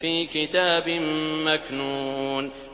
فِي كِتَابٍ مَّكْنُونٍ